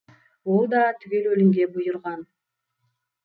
ол да түгел өлімге бұйырған